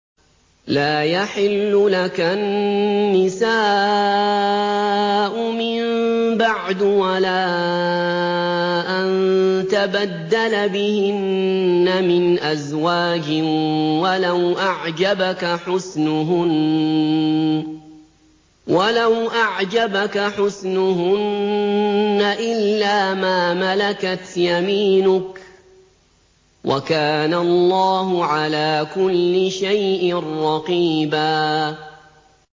لَّا يَحِلُّ لَكَ النِّسَاءُ مِن بَعْدُ وَلَا أَن تَبَدَّلَ بِهِنَّ مِنْ أَزْوَاجٍ وَلَوْ أَعْجَبَكَ حُسْنُهُنَّ إِلَّا مَا مَلَكَتْ يَمِينُكَ ۗ وَكَانَ اللَّهُ عَلَىٰ كُلِّ شَيْءٍ رَّقِيبًا